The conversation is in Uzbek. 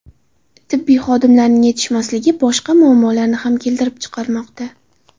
Tibbiy xodimlarning yetishmasligi boshqa muammolarni ham keltirib chiqarmoqda.